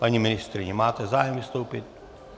Paní ministryně, máte zájem vystoupit?